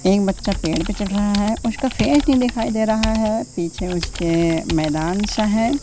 एक बच्चा पेड़ पे चढ़ रहा है उसका फेस नहीं दिखाई दे रहा हैं पीछे उसके मैदानसा है।